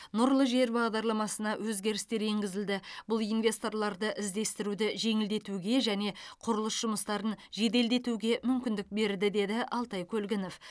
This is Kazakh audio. нұрлы жер бағдарламасына өзгерістер енгізілді бұл инвесторларды іздестіруді жеңілдетуге және құрылыс жұмыстарын жеделдетуге мүмкіндік берді деді алтай көлгінов